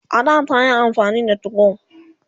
a da tayi amfani da 2go